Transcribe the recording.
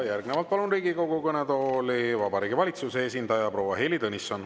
Järgnevalt palun Riigikogu kõnetooli Vabariigi Valitsuse esindaja proua Heili Tõnissoni.